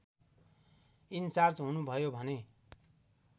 in charge हुनुभयो भने